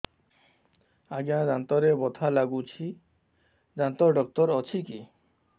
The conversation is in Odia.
ଆଜ୍ଞା ଦାନ୍ତରେ ବଥା ଲାଗୁଚି ଦାନ୍ତ ଡାକ୍ତର ଅଛି କି